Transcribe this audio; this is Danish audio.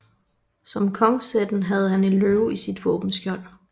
Som kongsætten havde han en løve i sit våbenskjold